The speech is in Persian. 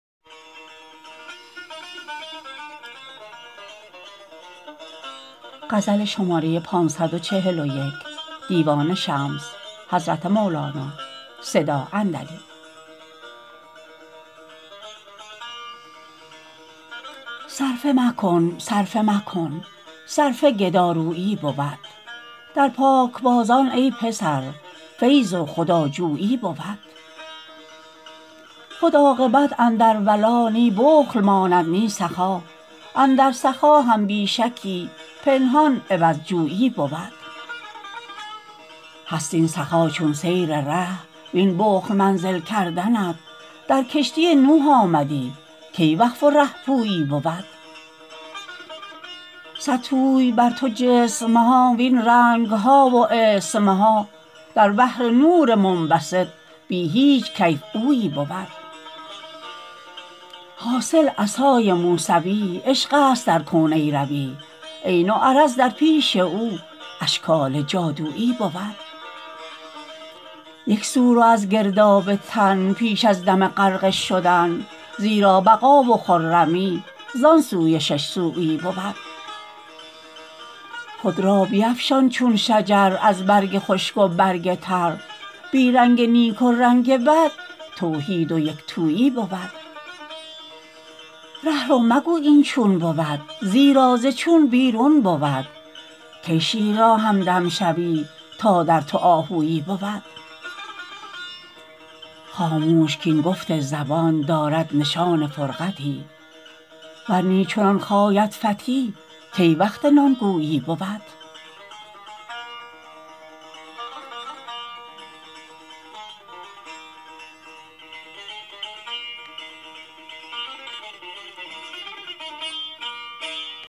صرفه مکن صرفه مکن صرفه گدارویی بود در پاکبازان ای پسر فیض و خداخویی بود خود عاقبت اندر ولا نی بخل ماند نی سخا اندر سخا هم بی شکی پنهان عوض جویی بود هست این سخا چون سیر ره وین بخل منزل کردنت در کشتی نوح آمدی کی وقف و ره پویی بود حاصل عصای موسوی عشقست در کون ای روی عین و عرض در پیش او اشکال جادویی بود یک سو رو از گرداب تن پیش از دم غرقه شدن زیرا بقا و خرمی زان سوی شش سویی بود خود را بیفشان چون شجر از برگ خشک و برگ تر بی رنگ نیک و رنگ بد توحید و یک تویی بود ره رو مگو این چون بود زیرا ز چون بیرون بود کی شیر را همدم شوی تا در تو آهویی بود خاموش کاین گفت زبان دارد نشان فرقتی ور نی چو نان خاید فتی کی وقت نان گویی بود